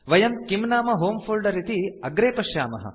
वयं किम् नाम होमे फोल्डर इति अग्रे पश्यामः